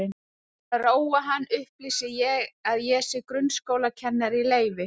Til að róa hann upplýsi ég að ég sé grunnskólakennari í leyfi.